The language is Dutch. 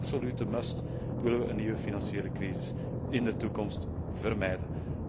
En dat is een absolute must willen we een nieuwe financiële crisis in de toekomst vermijden.